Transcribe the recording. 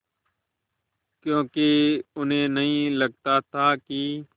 क्योंकि उन्हें नहीं लगता था कि